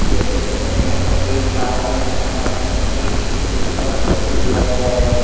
जैसा की अपन यहाँ पर देख पा रहे हैं । यहाँ पर हमें एक स्क्रीन पर फोटो दिया गया है ।